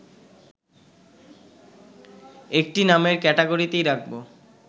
একটি নামের ক্যাটাগরিতেই রাখব